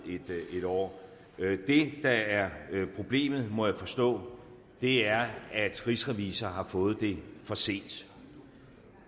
et år det der er problemet må jeg forstå er at rigsrevisor har fået det for sent